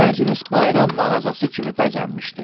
Məclis Bayram mağazası kimi bəzənmişdi.